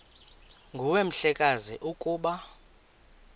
nguwe mhlekazi ukuba